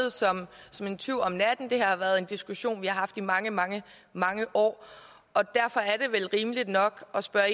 som en tyv om natten det har været en diskussion vi har haft i mange mange mange år derfor er det vel rimeligt nok at spørge